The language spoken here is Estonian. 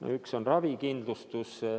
Üks neist on ravikindlustus.